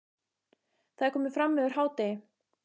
Það er komið fram yfir hádegi.